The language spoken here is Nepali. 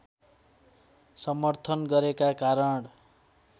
समर्थन गरेका कारण